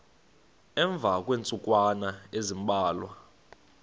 emva kweentsukwana ezimbalwa